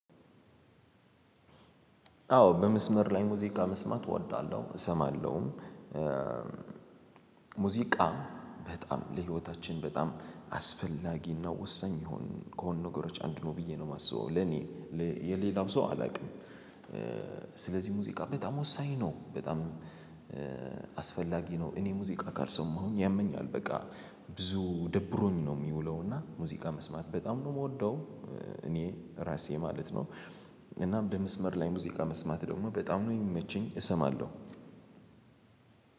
አዎ በመስመር ላይ ሙዚቃ መስማት እወዳለሁ እሰማለሁም። ሙዚቃ በጣም ለህይወታችን በጣም አስፈላጊና ወሳኝ ከሆኑ ነገሮች አንዱ ነው ብዬ ነው የማስበው ለኔ። የሌላውን ሰው አላውቅም። ሥለዚህ ሙዚቃ በጣም ወሳኝ ነው። በጣም አስፈላጊ ነው። እኔ ሙዚቃ ካልሰማሁኝ ያመኛል በቃ ብዙ ደብሮኝ ነው የሚውለው። እና ሙዚቃ መስማት በጣም ነው የምወደው እኔ እራሴ ማለት ነው። እናም በመስመር ላይ ሙዚቃ መስማት ደግሞ በጣም ነው የሚመቸኝ እሰማለሁ።